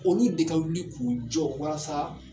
Olu de ka wuli k'u jɔ wasa